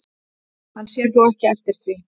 Hann sér þó ekki eftir því